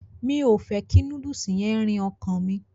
Mi o fẹ kí núdùùsì yẹn rìn ọkàn mi.